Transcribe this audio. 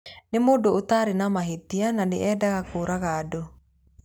Nĩ mũndũ ũtaarĩ na mahĩtia na nĩ eendaga kũũraga andũ".